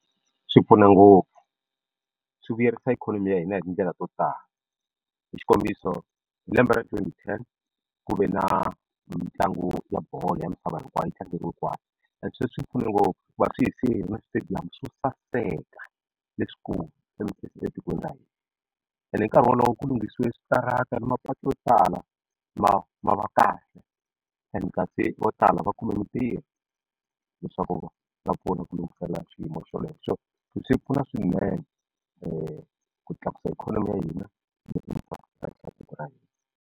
Swi pfuna ngopfu swi vuyerisa ikhonomi ya hina hi tindlela to tala hi xikombiso hi lembe ra twenty ten ku ve na mitlangu ya bolo ya misava hinkwayo yi tlangeriwe kwala and sweswi pfune ngopfu hikuva swi hi siyile na switediyamu swo saseka leswikulu etikweni ra hina hi nkarhi wolowo ku lunghisiwe switarata ni mapatu yo tala ma va kahle and kasi vo tala va kume mintirho leswaku va pfuna ku lunghisela swiyimo so swi pfuna swinene ku tlakusa ikhonomi ya hina tiko ra hina.